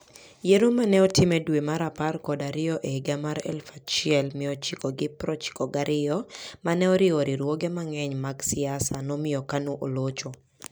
Yiero ma ne otim e dwe mar apar kod ariyo e higa mar 1992 ma ne oriwo riwruoge mang'eny mag siasa, nomiyo KANU olocho.